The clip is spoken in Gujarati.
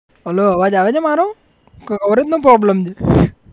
Hello અવાજ આવે છે મારો? કે coverage નો problem છે